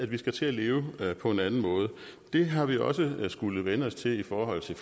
vi skal til at leve på en anden måde det har vi også skullet vænne os til i forhold til